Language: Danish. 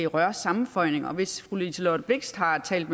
rørsammenføjninger og hvis fru liselott blixt har talt